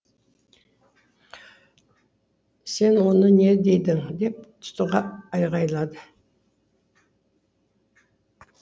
сен оны не дедің деп тұтыға айғайлады